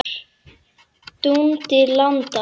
Dundi landa!